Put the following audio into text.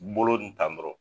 Bolo di tan dɔrɔn